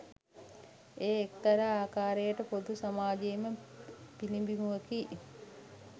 එය එක්තරා ආකාරයකට පොදු සමාජයේම පිළිඹිබුවකි.